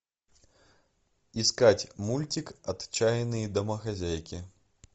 искать мультик отчаянные домохозяйки